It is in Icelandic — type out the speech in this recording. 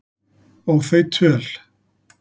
Og þau töl